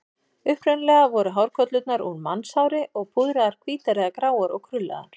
Upprunalega voru hárkollurnar úr mannshári og púðraðar hvítar eða gráar og krullaðar.